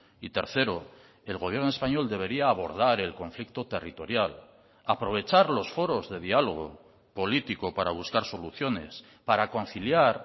y tercero el gobierno español debería abordar el conflicto territorial aprovechar los foros de diálogo político para buscar soluciones para conciliar